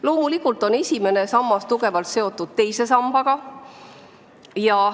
Loomulikult on esimene sammas tugevalt seotud teise sambaga.